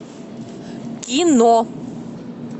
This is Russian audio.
кино